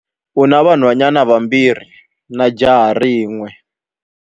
U na vanhwanyana vambirhi na jaha rin'we.